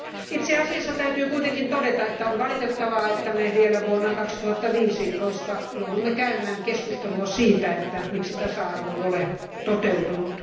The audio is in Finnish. Itse asiassa täytyy kuitenkin todeta, että on valitettavaa, että me vielä vuonna 2015 joudumme käymään keskustelua siitä, että miksi tasa arvo ei ole toteutunut.